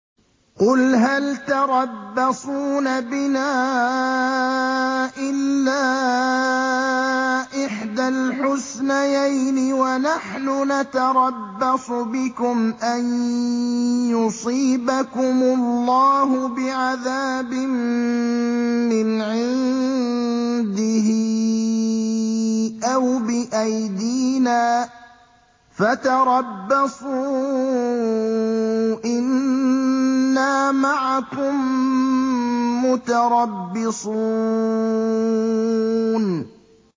قُلْ هَلْ تَرَبَّصُونَ بِنَا إِلَّا إِحْدَى الْحُسْنَيَيْنِ ۖ وَنَحْنُ نَتَرَبَّصُ بِكُمْ أَن يُصِيبَكُمُ اللَّهُ بِعَذَابٍ مِّنْ عِندِهِ أَوْ بِأَيْدِينَا ۖ فَتَرَبَّصُوا إِنَّا مَعَكُم مُّتَرَبِّصُونَ